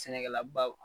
Sɛnɛkɛlabaw